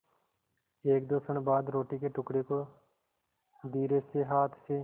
एकदो क्षण बाद रोटी के टुकड़े को धीरेसे हाथ से